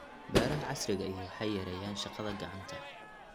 Beeraha casriga ahi waxay yareeyaan shaqada gacanta.